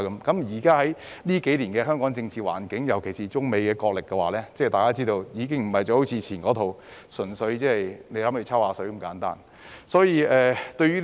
觀乎近年香港的政治環境，尤其是面對中美角力，現在的情況已不似過往純粹"抽水"那麼簡單。